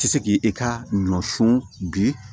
Tɛ se k'i i ka ɲɔ sɔn bi